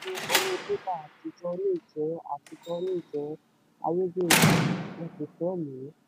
owó bébà àtijọ́ lè jẹ́ àtijọ́ lè jẹ́ ayédèrú wọ́n kò fẹ́ lo o.